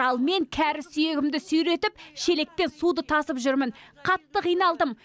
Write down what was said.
ал мен кәрі сүйегімді сүйретіп шелекпен суды тасып жүрмін қатты қиналдым